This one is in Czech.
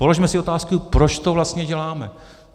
Položme si otázku - proč to vlastně děláme?